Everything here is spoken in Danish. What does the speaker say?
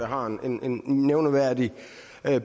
har en en nævneværdig